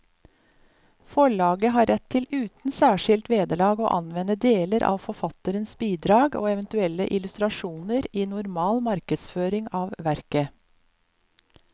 Forlaget har rett til uten særskilt vederlag å anvende deler av forfatterens bidrag og eventuelle illustrasjoner i normal markedsføring av verket.